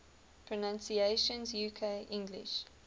pronunciations uk english